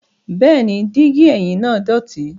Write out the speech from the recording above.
Bẹẹni, digi ẹhim naa dọti